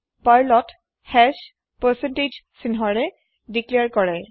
Perlত hash চাইনেৰে declare কৰে